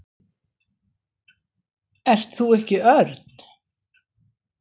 Ert þú ekki Örn?